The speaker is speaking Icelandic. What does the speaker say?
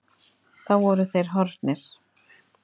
Þá voru þeir horfnir.